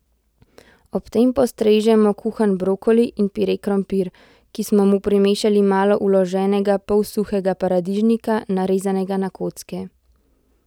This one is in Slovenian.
Ob tem postrežemo kuhan brokoli in pire krompir, ki smo mu primešali malo vloženega pol suhega paradižnika, narezanega na kocke.